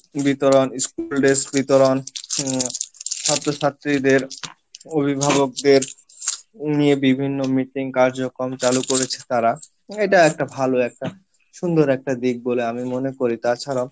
বিতরন, school dress বিতরন আহ ছাত্র ছাত্রীদের অভিভাবকদের নিয়ে বিভিন্ন meeting কার্যক্রম চালু করেছে তারা এটা ভালো একটা সুন্দর একটা দিক বলে আমি মনে করি তাছাড়াও